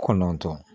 Kɔnɔntɔn